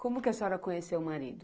Como que a senhora conheceu o marido?